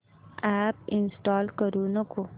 app install करू नको